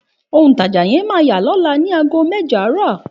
Òun taja yẹn má yà lọla ni àgó mẹ́jọ arọ.